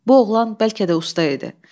Bu oğlan bəlkə də usta idi.